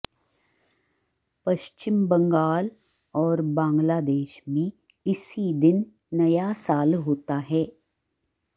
पश्चिम बंगाल और बांग्लादेश में इसी दिन नया साल होता है